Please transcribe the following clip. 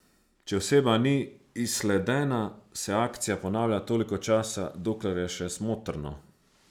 Če oseba ni izsledena, se akcija ponavlja toliko časa, dokler je še smotrno.